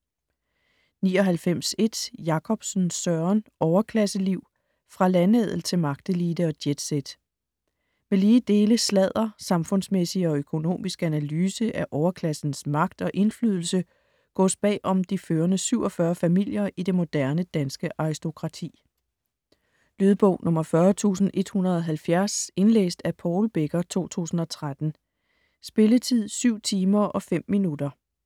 99.1 Jakobsen, Søren: Overklasseliv: fra landadel til magtelite og jetset Med lige dele sladder, samfundsmæssig og økonomisk analyse af overklassens magt og indflydelse gåes bagom de førende 47 familier i det moderne danske aristokrati. Lydbog 40170 Indlæst af Paul Becker, 2013. Spilletid: 7 timer, 5 minutter.